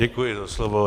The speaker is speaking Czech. Děkuji za slovo.